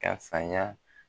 Ka saya